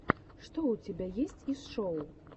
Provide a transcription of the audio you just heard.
что у тебя есть из шоу